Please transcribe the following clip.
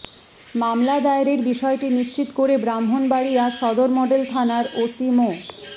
মামলা দায়েরের বিষয়টি নিশ্চিত করে ব্রাহ্মণবাড়িয়া সদর মডেল থানার ওসি মো